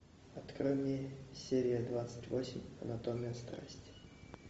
открой мне серия двадцать восемь анатомия страсти